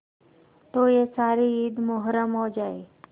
तो यह सारी ईद मुहर्रम हो जाए